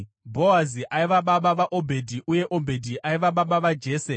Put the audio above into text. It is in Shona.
Bhoazi aiva baba vaObhedhi uye Obhedhi aiva baba vaJese.